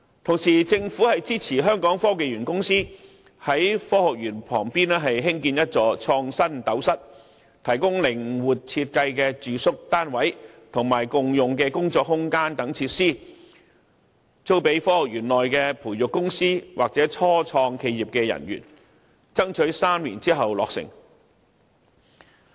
同時，政府支持香港科技園公司在科學園旁邊興建一座創新斗室，提供靈活設計的住宿單位及共用的工作空間等設施，租給科學園內的培育公司或初創企業的人員，爭取在3年後落成。